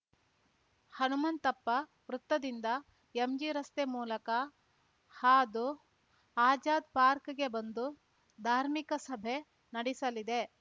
ಹನುಮಂತಪ್ಪ ವೃತ್ತದಿಂದ ಎಂಜಿರಸ್ತೆ ಮೂಲಕ ಹಾದು ಅಜಾದ್‌ಪಾರ್ಕ್ಗೆ ಬಂದು ಧಾರ್ಮಿಕ ಸಭೆ ನಡೆಸಲಿದೆ